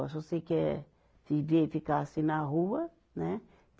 Agora se você quer viver e ficar assim na rua, né?